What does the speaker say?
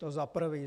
To za prvé.